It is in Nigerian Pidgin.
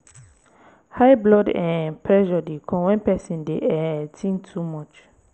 high blood um pressure dey come when person dey um think too much